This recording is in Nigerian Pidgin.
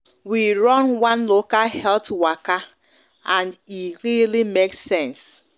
we run one local health waka and e really make sense